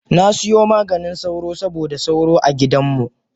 Nasiyo Maganin sauro saboda sauro a gidanmu.